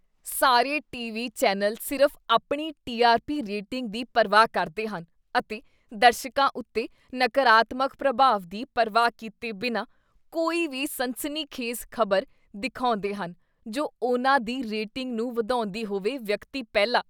ਸਾਰੇ TV. Channel ਸਿਰਫ਼ ਆਪਣੀ ਟੀ ਆਰ ਪੀ ਰੇਟਿੰਗ ਦੀ ਪਰਵਾਹ ਕਰਦੇ ਹਨ ਅਤੇ ਦਰਸ਼ਕਾਂ ਉੱਤੇ ਨਕਾਰਾਤਮਕ ਪ੍ਰਭਾਵ ਦੀ ਪਰਵਾਹ ਕੀਤੇ ਬਿਨਾਂ ਕੋਈ ਵੀ ਸਨਸਨੀਖੇਜ਼ ਖ਼ਬਰ ਦਿਖਾਉਂਦੇ ਹਨ ਜੋ ਉਹਨਾਂ ਦੀ ਰੇਟਿੰਗ ਨੂੰ ਵਧਾਉਂਦੀ ਹੋਵੇ ਵਿਅਕਤੀ ਪਹਿਲਾ